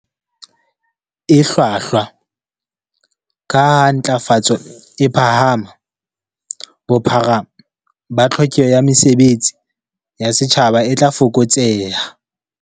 E hlwahlwa, kaha ha ntlafatso e phahama, bophara ba tlhokeho ya mesebe tsi ya setjhaba e tla fokotseha.